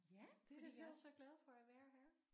Ja fordi jeg er så glad for at være her